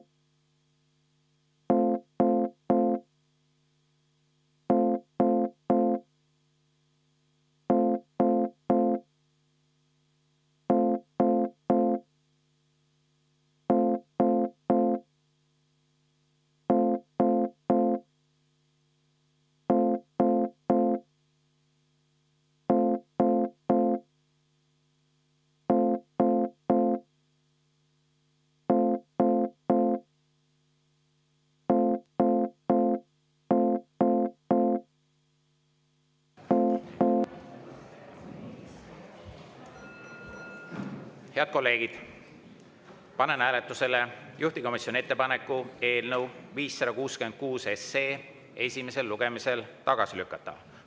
Head kolleegid, panen hääletusele juhtivkomisjoni ettepaneku eelnõu 566 esimesel lugemisel tagasi lükata.